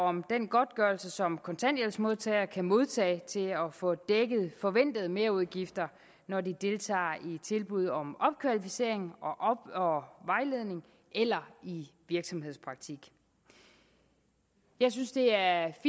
om den godtgørelse som kontanthjælpsmodtagere kan modtage til at få dækket forventede merudgifter når de deltager i tilbud om opkvalificering og vejledning eller i virksomhedspraktik jeg synes det er